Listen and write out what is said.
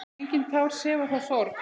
Engin tár sefa þá sorg.